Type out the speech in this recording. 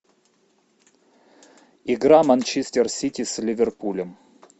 игра манчестер сити с ливерпулем